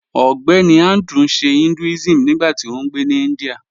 Ọgbẹ́nì Andrew n ṣè Hinduism nígbàtí ó ngbé ní India